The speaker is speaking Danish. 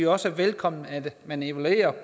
også velkommen at man evaluerer